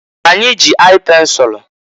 Anyị ji aị pensulu.